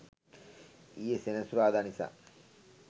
ඊයේ සෙනසුරාද නිසා